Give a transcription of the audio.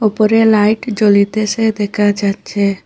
উপরে লাইট জলিতেসে দেখা যাচ্ছে।